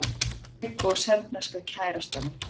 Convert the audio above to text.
Ég og serbneska kærastan mín.